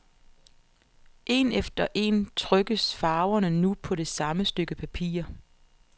En efter en trykkes farverne nu på det samme stykke papir.